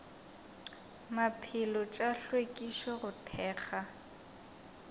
maphelo tša hlwekišo go thekga